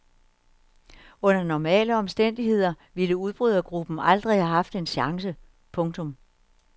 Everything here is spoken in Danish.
Under normale omstændigheder ville udbrydergruppen aldrig have haft en chance. punktum